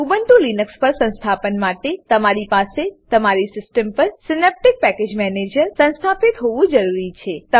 Ubuntu Linux પર સંસ્થાપન માટે તમારી પાસે તમારી સીસ્ટમ પર Synaptic package manager Synaptic package manager સંસ્થાપિત હોવું જરૂરી છે